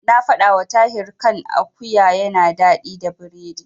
Na faɗawa Tahir kan akuwa yana daɗi da biredi.